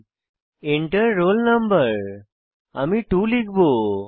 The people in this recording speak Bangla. Enter রোল no আমি 2 লিখব